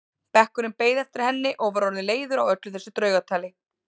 Bekkurinn beið eftir henni og var orðinn leiður á öllu þessu draugatali.